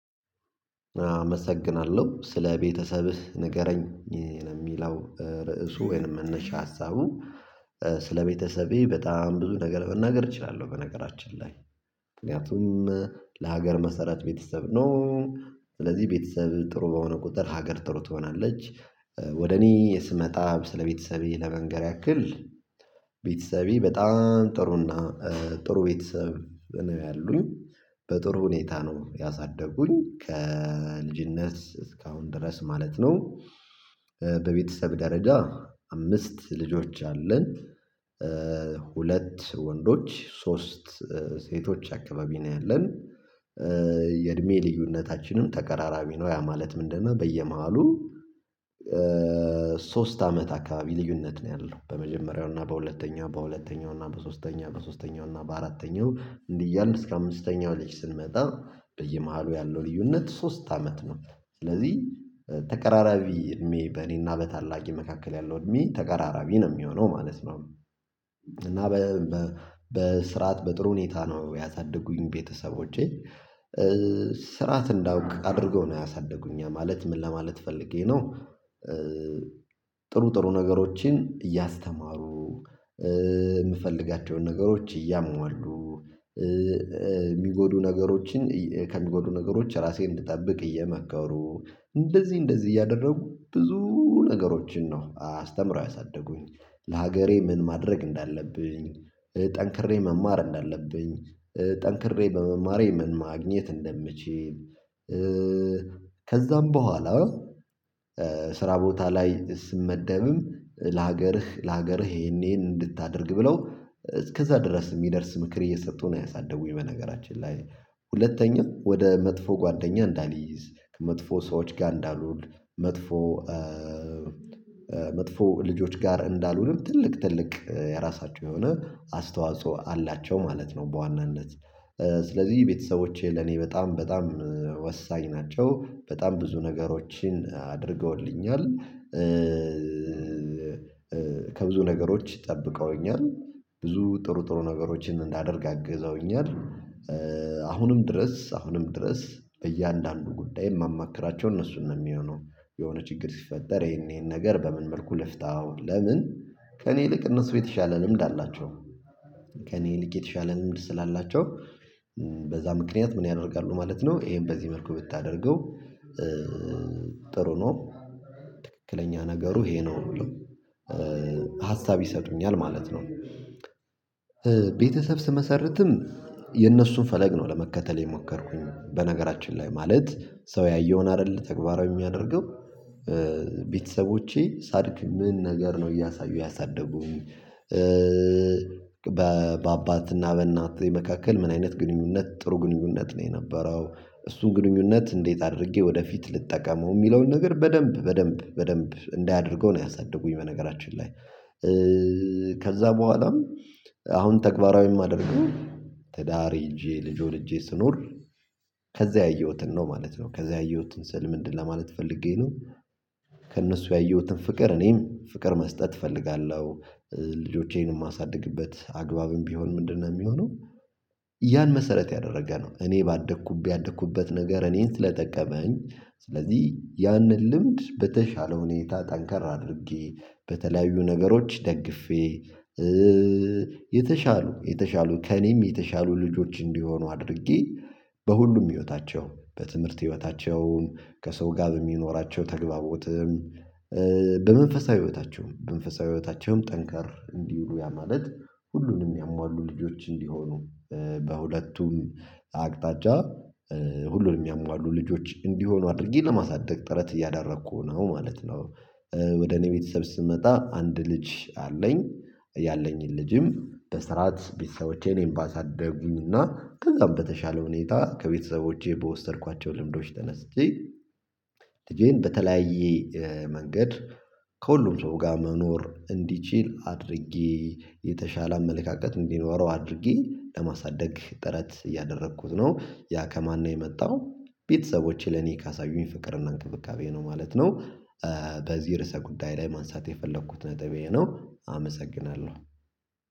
አመሰግናለሁ ስለ ቤተሰብህ ንገረኝ የሚለው ርዕሱ ወይንም መነሻ ሀሳቡ? ስለቤተሰቤ በጣም ብዙ ነገር መናገር እችላለሁ በነገራችን ላይ። ምክንያቱም ለሀገር መሰረት ቤተሰብ ነው። ስለዚህ ቤተሰብ ጥሩ በሆነ ቁጥር ሀገር ጥሩ ትሆናለች። ወደ እኔ ስመጣ ስለ ስለቤተሰቤ ለመንገር ያክል። ቤተሰቤ በጣም ጥሩና ጥሩ ቤተሰብ ነው ያሉኝ። በጥሩ ሁኔታ ነው ያሳደጉኝ ከልጅነት እስካሁን ድረስ ማለት ነው። በቤተሰብ ደረጃ አምስት ልጆች አለን። ሁለት ወንዶች ሶስት ሴቶች አካባቢ ነው ያለን። የእድሜ ልዩነታችንም ተቀራራቢ ነው ያ ማለት ምንድነው? በየመሃሉ ሶስት አመት አካባቢ ልዩነት ነው ያለው በመጀመሪያው እና በሁለተኛው በሁለተኛው እና በሶስተኛው በሶስተኛው እና በአራተኛው እንዲህ እያልን እስከ አምስተኛው ልጅ ስንመጣ በየመሃሉ ያለው ልዩነት ሶስት አመት ነው። ስለዚህ ተቀራራቢ እድሜ በእኔና በታላቄ መካከል ያለው እድሜ ተቀራራቢ ነው የሚሆነው ማለት ነው። እና በስርዓት በጥሩ ሁኔታ ነው ያሳደጉኝ ቤተሰቦቼ ስርዓት እንዳውቅ አድርገው ነው ያሳደጉኝ ያ ማለት ምን ለማለት ፈልጌ ነው። ጥሩ ጥሩ ነገሮችን እያስተማሩ የምፈልጋቸውን ነገሮች እያሟሉ የሚጎዱ ነገሮችን ከሚጎዱ ነገሮች እራሴን እንድጠብቅ እየመከሩ እንደዚህ እንደዚህ እያደረጉ ብዙ ነገሮችን ነው አስተምረው ያሳደጉኝ። ለሀገሬ ምን ማድረግ እንዳለብኝ ጠንክሬ መማር እንዳለብኝ ጠንክሬ በመማሬ ምን ማግኘት እንደምችል። ከዛም በኋላ ስራ ቦታ ላይ ስመደብም ለሀገርህ ለሀገርህ ይሄን ይሄን እንድታደርግ ብለው እስከዛ ድረስ የሚደርስ ምክር እየሰጡ ነው ያሳደጉኝ በነገራችን ላይ። ሁለተኛ ወደ መጥፎ ጓደኛ እንዳልይዝ ከ መጥፎ ሰዎች ጋር እንዳልውል መጥፎ መጥፎ ልጆች ጋር እንዳልሆን ትልቅ ትልቅ የራሳቸው የሆነ አስተዋጽኦ አላቸው ማለት ነው በዋናነት። ስለዚህ ቤተሰቦቼ ለኔ በጣም በጣም ወሳኝ ናቸው በጣም ብዙ ነገሮችን አድርገውልኛል። ከብዙ ነገሮች ጠብቀውኛል ብዙ ጥሩ ጥሩ ነገሮችን እንዳደርግ አግዘውኛል። አሁንም ድረስ አሁንም ድረስ እያንዳንዱን ጉዳይ የማማክራቸው እነሱን ነው የሚሆነው። የሆነ ችግር ሲፈጠር ይሄን ይሄን ነገር በምን መልኩ ልፍታው ለምን? ከእኔ ይልቅ እነሱ የተሻለ ልምድ አላቸው። ከእኔ ይልቅ የተሻለ ልምድ ስላላቸው። በዛ ምክንያት ምን ያደርጋሉ ማለት ነው። ይሄን በዚህ መልኩ ብታደርገው። ጥሩ ነው። ትክክለኛ ነገሩ ይሄ ነው ብለው። ሀሳብ ይሰጡኛል ማለት ነው። ቤተሰብ ስመሰርትም የነሱን ፈለግ ነው ለመከተል የሞከርኩኝ በነገራችን ላይ ማለት ሰው ያየውን አይደለ ተግባራዊ የሚያደርገው። ቤተሰቦቼ ሳድግ ምን ነገር ነው እያሳዩ ያሳደጉኝ። በ በአባትና በእናቴ መካከል ምን አይነት ግንኙነት ጥሩ ግንኙነት ነው የነበረው። እሱን ግንኙነት እንዴት አድርጌ ወደፊት ልጠቀመው የሚለውን ነገር በደንብ በደንብ በደንብ እንዳይ አድርገው ነው ያሳደጉኝ። በነገራችን ላይ። ከዛ በኋላም አሁን ተግባራዊ የማደርገው። ትዳር ይዤ ልጅ ወልጄ ስኖር ከዛ ያየሁትን ነው ማለት ነው። ከዛ ያየሁትን ስል ምንድነው? ለማለት ፈልጌ ነው። ከእነሱ ያየሁትን ፍቅር እኔም ፍቅር መስጠት እፈልጋለሁ። ልጆቼንም እማሳድግበት አግባብም ቢሆን ምንድነው የሚሆነው? ያን መሰረት ያደረገ ነው እኔ ባደኩበት ያደኩበት ነገር እኔን ስለጠቀመኝ። ስለዚህ ያንን ልምድ በተሻለ ሁኔታ ጠንካራ አድርጌ በተለያዩ ነገሮች ደግፌ። የተሻሉ የተሻሉ ከእኔም የተሻሉ ልጆች እንዲሆኑ አድርጌ። በሁሉም ህይወታቸው በትምህርት ህይወታቸውን ከሰው ጋር በሚኖራቸው ተግባቦትም። በመንፈሳዊ ህይወታቸውም በመንፈሳዊ ህይወታቸውም ጠንካራ እንዲሆኑ ያ ማለት ሁሉንም የሚያሟሉ ልጆች እንዲሆኑ። በሁለቱም አቅጣጫ ሁሉንም የሚያሟሉ ልጆች እንዲሆኑ አድርጌ ለማሳደግ ጥረት እያደረኩ ነው ማለት ነው። ወደ እኔ ቤተሰብ ስመጣ አንድ ልጅ አለኝ። ያለኝን ልጅም በስርዓት ቤተሰቦቼ እኔን ባሳደጉኝና ከዛም በተሻለ ሁኔታ ከቤተሰቦቼ በወሰድኳቸው ልምዶች ተነስቼ። ልጄን በተለያየ መንገድ። ከሁሉም ሰው ጋር መኖር እንዲችል አድርጌ የተሻለ አመለካከት እንዲኖረው አድርጌ ለማሳደግ ጥረት እያደረኩት ነው ያ ከማን ነው የመጣው? ቤተሰቦቼ ለኔ ካሳዩኝ ፍቅርና እንክብካቤ ነው ማለት ነው። በዚህ ርዕሰ ጉዳይ ላይ ማንሳት የፈለኩት ነጥብ ይሄ ነው። አመሰግናለሁ።